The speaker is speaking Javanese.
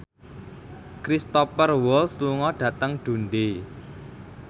Cristhoper Waltz lunga dhateng Dundee